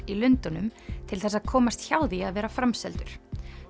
í Lundúnum til þess að komast hjá því að vera framseldur